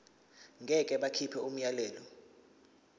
ngeke bakhipha umyalelo